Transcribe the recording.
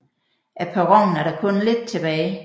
Af perronen er der kun lidt tilbage